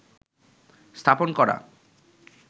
স্থাপন করা